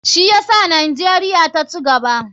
Shi yasa nijeria ta cigaba.